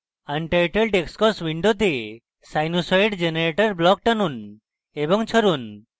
untitled xcos window sinusoid generator block টানুন এবং ছাড়ুন